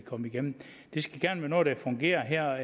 komme igennem det skal gerne være noget der fungerer her